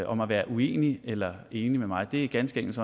om at være uenig eller enig med mig det er ganske enkelt